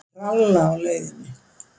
Ég tralla á leiðinni.